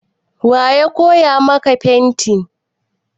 Wa ya koya maka fenti?